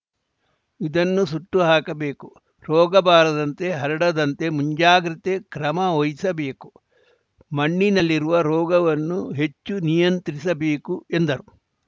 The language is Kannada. ಇದನ್ನು ಸುಟ್ಟು ಹಾಕಬೇಕು ರೋಗ ಬಾರದಂತೆ ಹರಡದಂತೆ ಮುಂಜಾಗ್ರತೆ ಕ್ರಮವಹಿಸಬೇಕು ಮಣ್ಣಿನಲ್ಲಿರುವ ರೋಗವನ್ನು ಹೆಚ್ಚು ನಿಯಂತ್ರಿಸಬೇಕು ಎಂದರು